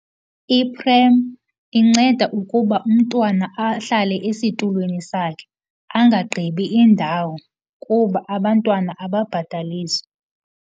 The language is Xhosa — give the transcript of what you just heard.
Iprem inceda ukuba umntwana ahlale esitulweni sakhe angagqibi indawo kuba abantwana ababhataliswa.